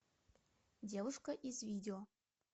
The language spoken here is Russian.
девушка из видео